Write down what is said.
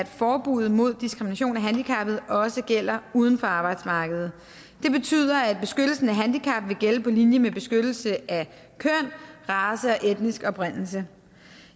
at forbuddet mod diskrimination af handicappede også gælder uden for arbejdsmarkedet det betyder at beskyttelsen af handicappede vil gælde på linje med beskyttelse af køn race og etnisk oprindelse